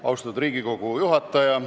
Austatud Riigikogu juhataja!